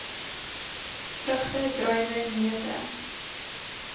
vrugte druiwe neute